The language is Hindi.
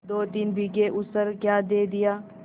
दोतीन बीघे ऊसर क्या दे दिया